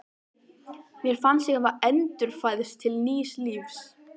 Mér fannst ég hafa endurfæðst til nýs lífs.